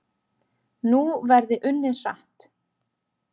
Nú verði unnið hratt